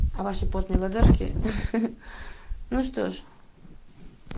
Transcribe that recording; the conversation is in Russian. а ваши потные ладошки ну что ж